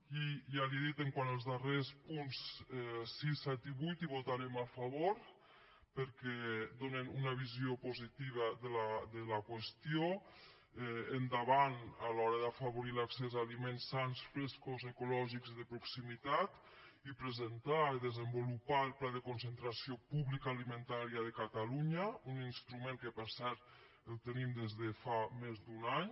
i ja li ho he dit quant als darrers punts sis set i vuit hi votarem a favor perquè donen una visió positiva de la qüestió endavant a l’hora d’afavorir l’accés a aliments sans frescos ecològics i de proximitat i presentar i desenvolupar el pla de concentració pública alimentària de catalunya un instrument que per cert el tenim des de fa més d’un any